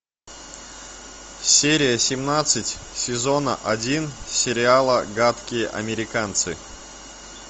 серия семнадцать сезона один сериала гадкие американцы